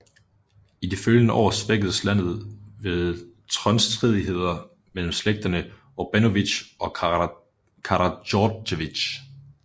I de følgende år svækkedes landet ved tronstridigheder mellem slægterne Obrenović og Karadjordjević